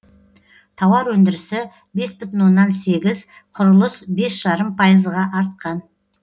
тауар өндірісі бес бүтін оннан сегіз құрылыс бес жарым пайызға артқан